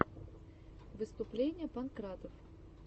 выступление панкратов